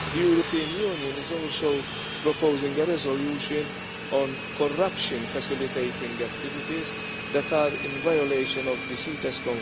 The European Union is also proposing a resolution on corruption facilitating activities that are in violation of CITES.